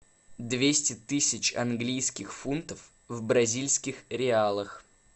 двести тысяч английских фунтов в бразильских реалах